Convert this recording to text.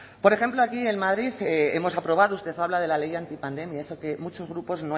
por ejemplo allí en madrid hemos aprobado usted habla de la ley antipandemia esa que muchos grupos